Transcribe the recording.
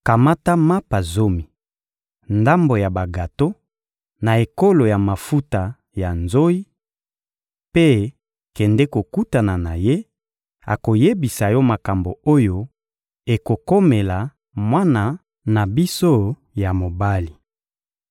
Kamata mapa zomi, ndambo ya bagato, na ekolo ya mafuta ya nzoyi, mpe kende kokutana na ye; akoyebisa yo makambo oyo ekokomela mwana na biso ya mobali.